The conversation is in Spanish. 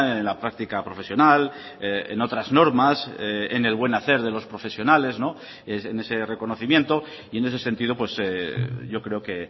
en la práctica profesional en otras normas en el buen hacer de los profesionales en ese reconocimiento y en ese sentido yo creo que